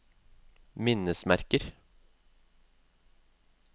minnesmerker